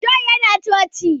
John ya na coci